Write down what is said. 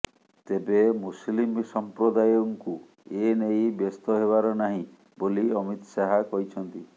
ତେବେ ମୁସଲିମ ସଂପ୍ରଦାୟଙ୍କୁ ଏନେଇ ବ୍ୟସ୍ତ ହେବାର ନାହିଁ ବୋଲି ଅମିତ ଶାହା କହିଛନ୍ତି